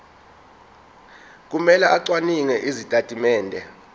kumele acwaninge izitatimende